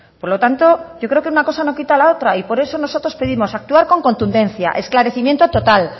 por lo tanto yo creo que una cosa no quita la otra y por eso nosotros pedimos actuar con contundencia esclarecimiento total